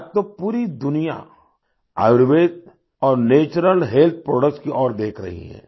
आज तो पूरी दुनिया आयुर्वेद और नैचुरल हेल्थ प्रोडक्ट्स की ओर देख रही है